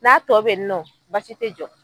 N'a tɔ bɛ yen nɔ basi tɛ jɔ.